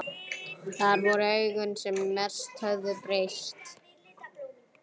En það voru augun sem mest höfðu breyst.